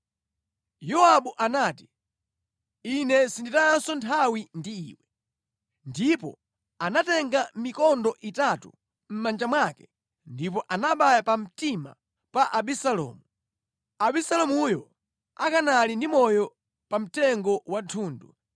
Yowabu anati, “Ine sinditayanso nthawi ndi iwe.” Ndipo anatenga mikondo itatu mʼmanja mwake ndipo anabaya pamtima pa Abisalomu, Abisalomuyo akanali ndi moyo pa mtengo wa thundu.